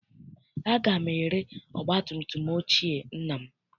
Aga m ere ọgbatumtum ochie nna m.